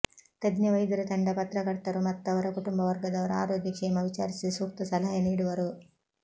ತಜ್ಞ ವೈದ್ಯರ ತಂಡ ಪತ್ರಕರ್ತರು ಮತ್ತವರ ಕುಟುಂಬವರ್ಗದವರ ಆರೋಗ್ಯ ಕ್ಷೇಮ ವಿಚಾರಿಸಿ ಸೂಕ್ತ ಸಲಹೆ ನೀಡುವರು